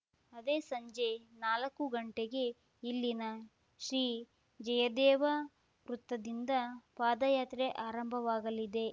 ಅದೇ ಸಂಜೆ ನಾಲಕ್ಕು ಗಂಟೆಗೆ ಇಲ್ಲಿನ ಶ್ರೀ ಜಯದೇವ ವೃತ್ತದಿಂದ ಪಾದಯಾತ್ರೆ ಆರಂಭವಾಗಲಿದೆ